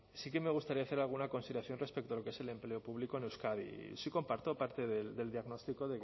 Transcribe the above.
sí me gustaría hacer alguna consideración respecto a lo que es el empleo público en euskadi sí comparto parte del diagnóstico